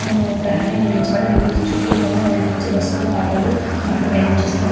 హమ్ ప్రహరీ నిర్మించ బడి ఉంది చుట్టూ కూడా రోడ్ ల మీద నుంచి బస్సు లు ఆటో లు కార్ ప్రయాణ--